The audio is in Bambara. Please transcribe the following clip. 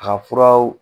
A ka furaw